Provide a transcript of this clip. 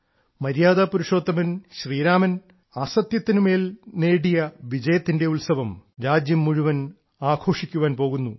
മര്യാദാ പുരുഷോത്തമൻ ശ്രീരാമൻ അസത്യത്തിന് മേൽ നേടിയ വിജയത്തിന്റെ ഉത്സവം രാജ്യം മുഴുവൻ ആഘോഷിക്കാൻ പോകുന്നു